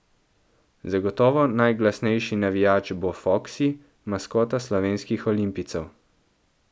Zagotovo najglasnejši navijač bo Foksi, maskota slovenskih olimpijcev.